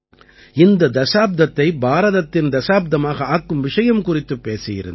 இந்த தசாப்தத்தை பாரதத்தின் தசாப்தமாக ஆக்கும் விஷயம் குறித்துப் பேசியிருந்தேன்